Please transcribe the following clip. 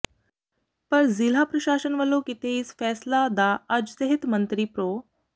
ਪਰ ਜ਼ਿਲ੍ਹਾ ਪ੍ਰਸ਼ਾਸਨ ਵਲੋਂ ਕੀਤੇ ਇਸ ਫੈਸਲਾ ਦਾ ਅੱਜ ਸਿਹਤ ਮੰਤਰੀ ਪ੍ਰੋ